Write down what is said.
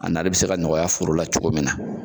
A nari bi se ka nɔgɔya foro la cogo min na